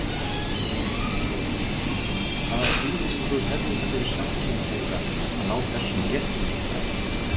Sólveig: Hvaða þýðingu hefði það fyrir samkynhneigða að ná þessum réttindum fram?